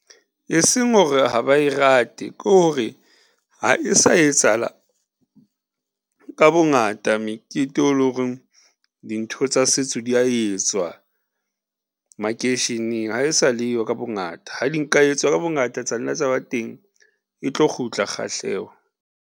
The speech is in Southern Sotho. E seng hore ha ba e rate, ko re ha e sa etsahala ka bongata mekete e lo reng dintho tsa setso di a etswa makeisheneng ha e sa leyo ka bongata ha di nka etswa ka bongata tsa nna tsa ba teng, e tlo kgutla kgahleho.